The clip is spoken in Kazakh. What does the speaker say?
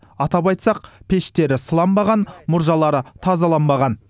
атап айтсақ пештері сыланбаған мұржалары тазаланбаған